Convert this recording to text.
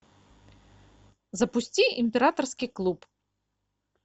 запусти императорский клуб